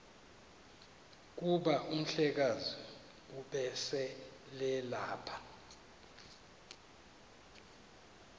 kuba umhlekazi ubeselelapha